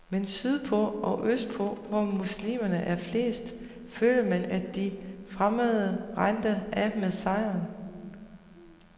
Men sydpå og østpå, hvor muslimerne er flest, følte man, at de fremmede rendte af med sejren.